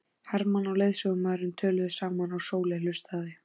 Hermann og leiðsögumaðurinn töluðu saman og Sóley hlustaði.